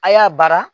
A' y'a bara